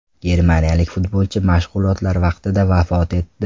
Germaniyalik futbolchi mashg‘ulotlar vaqtida vafot etdi.